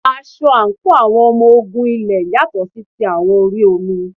Aṣọ àǹkóò àwọn ọmọ ogun orí ilẹ̀ yàtọ̀ sí ti àwọn orí omi.